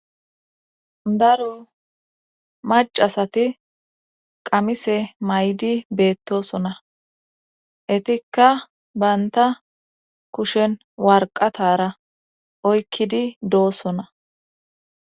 daro macasati qamise maydi beettosona etikka baynta kushen warqatara oykkidi doosona